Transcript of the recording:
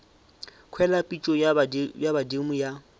kwele pitšo ya badimo ya